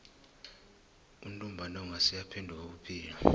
untumbantonga seyaphenduka ubuphilo